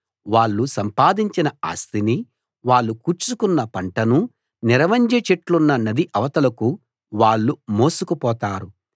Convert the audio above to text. వాళ్ళు సంపాదించిన ఆస్తినీ వాళ్ళు కూర్చుకున్న పంటనూ నిరవంజి చెట్లున్న నది అవతలకు వాళ్ళు మోసుకు పోతారు